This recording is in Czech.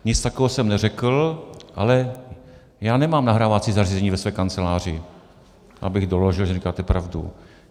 Nic takového jsem neřekl, ale já nemám nahrávací zařízení ve své kanceláři, abych doložil, že neříkáte pravdu.